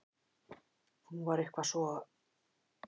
Hún var eitthvað svo.